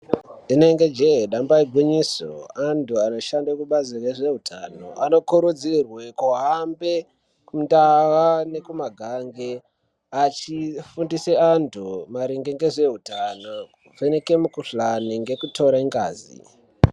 Inenge jee damba igwinyiso anthu anoshanda kubazi rezveutano anokurudzirwe kuhambe kundaa nekumagange achifundise anthu maringe ngezveutano, nekuvheneke mikuhlani ngekutore ngazi.